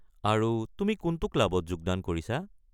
আৰু তুমি কোনটো ক্লাবত যোগদান কৰিছা?